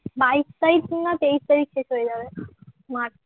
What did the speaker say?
বাইশ তারিখ না তেইশ তারিখ শেষ হয়ে যাবে মার্চ